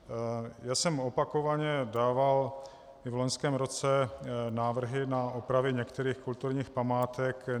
Já jsem opakovaně dával i v loňském roce návrhy na opravy některých kulturních památek.